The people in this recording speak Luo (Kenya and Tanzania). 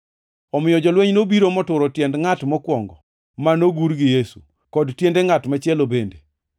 Omiyo jolweny nobiro moturo tiend ngʼat mokwongo ma nogur gi Yesu, kod tiende ngʼat machielo bende.